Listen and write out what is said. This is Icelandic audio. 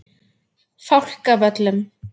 Fálkavöllum